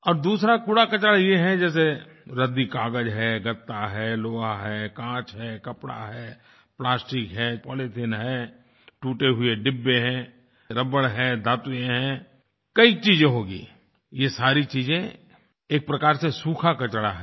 और दूसरा कूड़ाकचरा ये है जैसे रद्दीकाग़ज है गत्ता है लोहा है कांच है कपड़ा है प्लास्टिक है पॉलीथीन है टूटे हुए डब्बे हैं रबड़ है धातुएँ है कई चीज़े होंगी ये सारी चीज़ें एक प्रकार से सूखा कचरा है